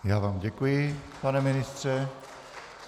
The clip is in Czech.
Já vám děkuji, pane ministře.